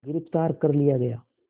गिरफ़्तार कर लिया गया